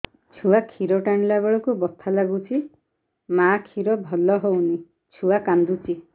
ଛୁଆ ଖିର ଟାଣିଲା ବେଳକୁ ବଥା ଲାଗୁଚି ମା ଖିର ଭଲ ହଉନି ଛୁଆ କାନ୍ଦୁଚି